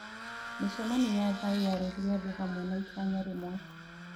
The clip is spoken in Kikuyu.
Mĩcemanio ya thayũ yarehire andũ hamwe na itanya rĩmwe.